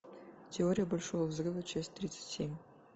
теория большого взрыва часть тридцать семь